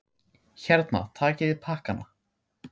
Hérna, takiði pakkana!